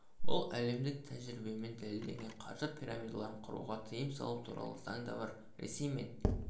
бұл әлемдік тәжірибемен дәлелденген қаржы пирамидаларын құруға тыйым салу туралы заң да бар ресей мен